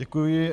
Děkuji.